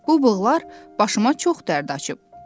Bu bığlar başıma çox dərd açıb.